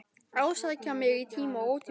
Ásækja mig í tíma og ótíma.